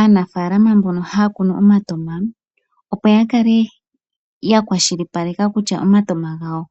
Aanafalama mbono haya kunu omatoma opo yakale yakwashilipaleka kutya omatoma gawo